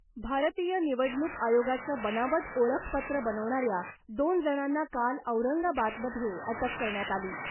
भारतीय निवडणूक आयोगाचं बनावट ओळखपत्र बनवणाऱ्या दोन जणांना काल औरंगाबादमध्ये अटक करण्यात आली .